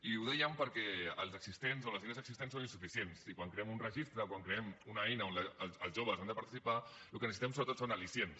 i ho dèiem perquè les línies existents són insuficients i quan creem un registre quan creem una eina on els joves han de participar el que necessitem sobretot són al·licients